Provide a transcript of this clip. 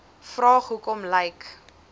vraag hoekom lyk